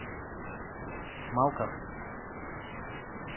малков